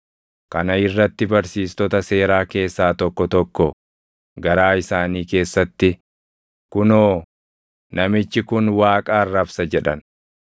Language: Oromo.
Kana irratti barsiistota seeraa keessaa tokko tokko garaa isaanii keessatti, “Kunoo, namichi kun Waaqa arrabsa!” jedhan.